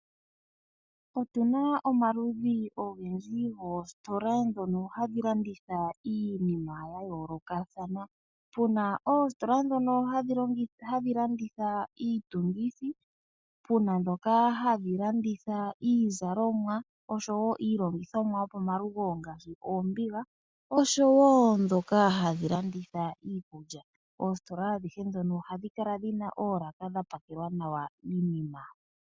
Otuna omaludhi ogendji goositola ndhono hadhi landitha iinima ya yoolokathana. Pu na oositola ndhono hadhi landitha iitungithi, pu na ndhoka hadhi landitha iizalomwa oshowo iilongithomwa yopomalugo ngaashi oombiga, oshowo ndhoka hadhi landitha iikulya. Oositola adhihe ndhono ohadhi kala dhi na oolaka hadhi kala dha pakelwa nawa iinima.